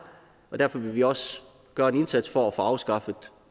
derfor vil vi også gøre en indsats for at få afskaffet